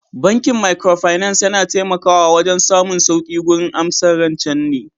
Bankin Microfinance yana taimakawa wajen samun sauƙi gurin amsar rancen ne